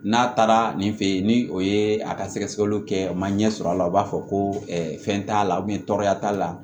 N'a taara nin fɛ yen ni o ye a ka sɛgɛsɛgɛliw kɛ u ma ɲɛ sɔrɔ a la u b'a fɔ ko fɛn t'a la tɔɔrɔya t'a la